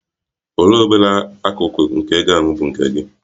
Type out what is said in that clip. Olee obere akụkụ nke ego ahụ bụ nke gị?